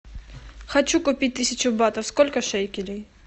хочу купить тысячу батов сколько шекелей